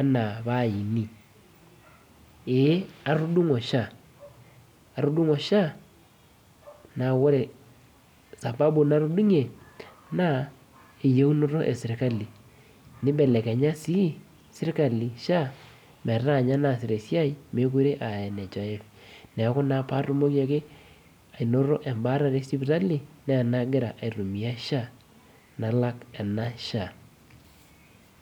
ana paini ee atudungo sha neaku ore sabau natudungie na eyiunoto eserkali nibelekenya si serkali sha metaa ninye naasuta esiai mekute aa nhif neaku patumoki ainoto embaare esipitali na ena agira aitumia sha nalak ena sha.